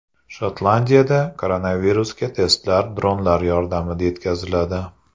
Shotlandiyada koronavirusga testlar dronlar yordamida yetkaziladi.